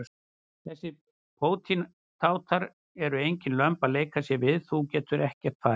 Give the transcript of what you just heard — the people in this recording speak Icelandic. Þessir pótintátar eru engin lömb að leika sér við og þú getur ekkert farið.